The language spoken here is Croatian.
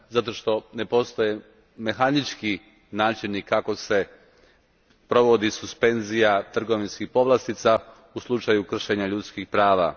Zato što ne postoje mehanički načini kako se provodi suspenzija trgovinskih povlastica u slučaju kršenja ljudskih prava.